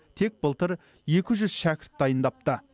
тек былтыр екі жүз шәкірт дайындапты